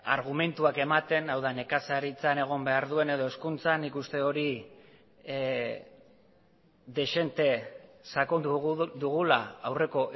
argumentuak ematen hau da nekazaritzan egon behar duen edo hezkuntzan nik uste hori dezente sakondu dugula aurreko